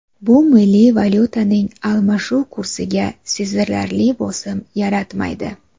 Bu milliy valyutaning almashuv kursiga sezilarli bosim yaratmaydi.